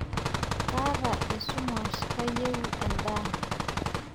Kaata esumash, kayieu endaa.